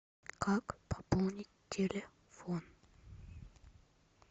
как пополнить телефон